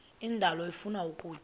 indalo ifuna ukutya